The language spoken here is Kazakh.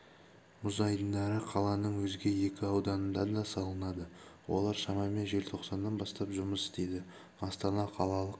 мұз айдындары қаланың өзге екі ауданында да салынады олар шамамен желтоқсаннан бастап жұмыс істейді астана қалалық